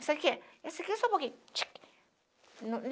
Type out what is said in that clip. Essa aqui, essa aqui é só um pouquinho. tique